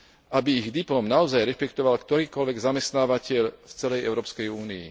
aby ich diplom naozaj rešpektoval ktorýkoľvek zamestnávateľ v celej Európskej únii.